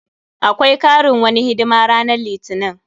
Akwai karin wani hidima ranan litinin.